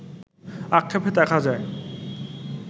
আক্ষেপে দেখা যায়